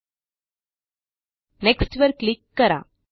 एलटीपॉजेग्ट next वर click करा